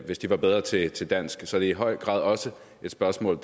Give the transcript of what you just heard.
hvis de var bedre til til dansk så det er i høj grad også et spørgsmål